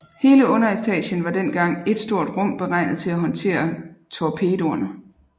Hele underetagen var dengang et stort rum beregnet til at håndtere torpedoerne